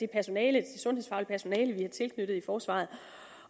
personale vi har tilknyttet i forsvaret